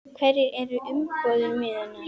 Hverjar eru umbúðir mínar?